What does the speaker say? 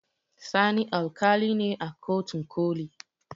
Sani alƙali ne a kotun ƙoli